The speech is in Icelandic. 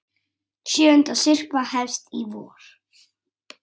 Sjöunda syrpa hefst í vor.